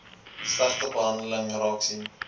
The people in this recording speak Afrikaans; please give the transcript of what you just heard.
slegte behandeling raaksien